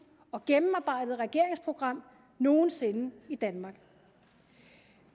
og gennemarbejdede regeringsprogram nogen sinde i danmark